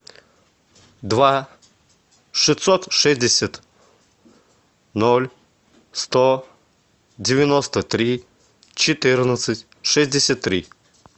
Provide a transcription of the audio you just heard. два шестьсот шестьдесят ноль сто девяносто три четырнадцать шестьдесят три